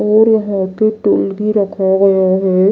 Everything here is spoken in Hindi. और यहाँ पे टूल भी रखा गया है।